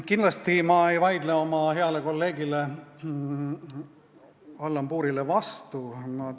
Kindlasti ei vaidle ma oma heale kolleegile Allan Puurile vastu.